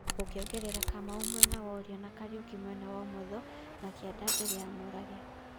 Ũgeongerera Kamau mwena wũrio na Kariuki mwena wũmũtho na kĩanda mbere ya Mũrage